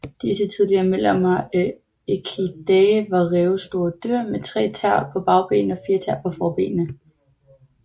Disse tidlige medlemmer af Equidae var rævestore dyr med tre tæer på bagbenene og fire tæer på forbenene